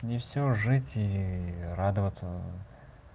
не всё жить и радоваться